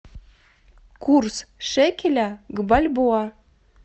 курс шекеля к бальбоа